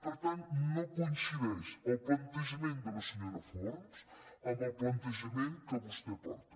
per tant no coincideix el plantejament de la senyora forns amb el plantejament que vostè porta